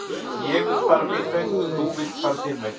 ég vill fara minn veg þú villt fara þinn veg